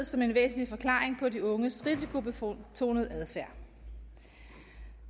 som en væsentlig forklaring på de unges risikobetonede adfærd